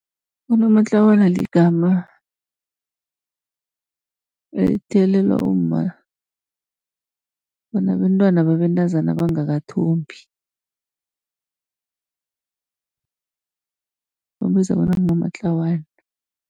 Unomatlawana ligama elithiyelelwa umma onabentwana babentazana abangakathombi, bambiza bona ngunomatlawana.